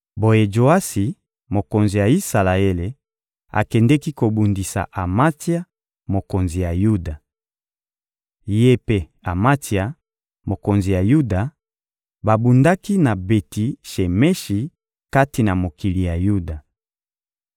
Boye Joasi, mokonzi ya Isalaele, akendeki kobundisa Amatsia, mokonzi ya Yuda. Ye mpe Amatsia, mokonzi ya Yuda, babundaki na Beti-Shemeshi kati na mokili ya Yuda.